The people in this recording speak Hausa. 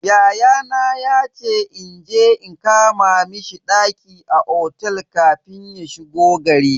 Yayana yace inje in kama mishi ɗaki a otel kafin ya shigo gari.